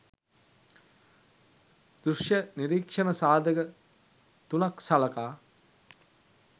දෘෂ්‍ය නිරීක්‍ෂණ සාධක තුනක් සලකා